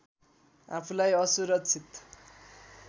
आफूलाई असुरक्षित